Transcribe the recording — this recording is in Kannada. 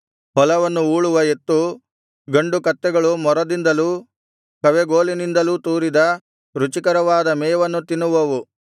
ಹೊಲವನ್ನು ಊಳುವ ಎತ್ತು ಗಂಡು ಕತ್ತೆಗಳು ಮೊರದಿಂದಲೂ ಕವೆಗೋಲಿನಿಂದಲೂ ತೂರಿದ ರುಚಿಕರವಾದ ಮೇವನ್ನು ತಿನ್ನುವವು